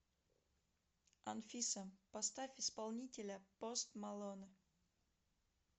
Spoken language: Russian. афина поставь исполнителя пост малон